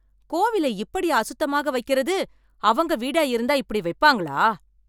கோவிலை இப்படியா அசுத்தமாக வைக்கிறது, அவங்க வீடா இருந்தா இப்படி வைப்பாங்களா?